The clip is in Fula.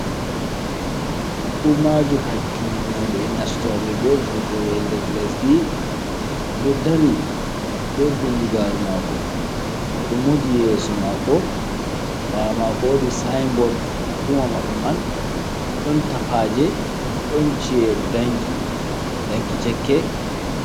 Hukumaju hakkil noɓe nastoɓe be vurtowɓe nder lesdi, o ɗo dari be bindigaru mako, o ɗo moji yeeso mako, ɓawo mako wodi siybord hukuma maɓɓe man, ɗon tappaje don ci’e danki, danki cekke.